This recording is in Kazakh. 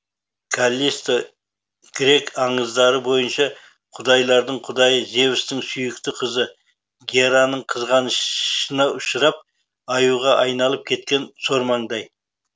каллисто грек аңыздары бойынша құдайлардың құдайы зевстің сүйікті қызы гераның қызғанышына ұшырап аюға айналып кеткен сормаңдай